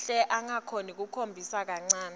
hle angakhombisi nakancane